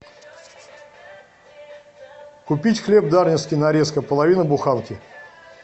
купить хлеб дарницкий нарезка половина буханки